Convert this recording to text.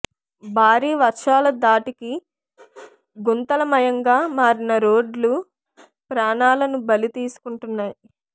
భారీ వర్షాల ధాటికి గుంతలమయంగా మారిన రోడ్లు ప్రాణాలను బలి తీసుకుంటున్నాయి